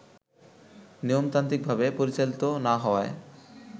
নিয়মতান্ত্রিকভাবে পরিচালিত না হওয়ায়